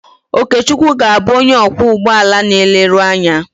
Okechukwu ga-abụ onye ọkwọ ụgbọala na eleru anya.